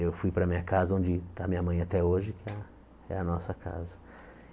Eu fui para minha casa, onde está a minha mãe até hoje, que é a nossa casa.